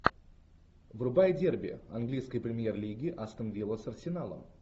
врубай дерби английской премьер лиги астон вилла с арсеналом